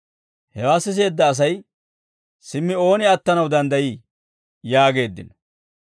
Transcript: Hewaa siseedda asay, «Simmi ooni attanaw danddayii?» yaageeddino.